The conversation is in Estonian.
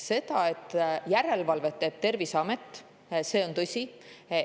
See, et järelevalvet teeb Terviseamet, on tõsi.